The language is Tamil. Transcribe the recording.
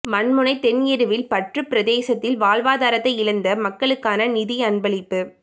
மண்முனை தென் எருவில்பற்று பிரதேசத்தில் வாழ்வாதாரத்தை இழந்த மக்களுக்கான நிதி அன்பளிப்பு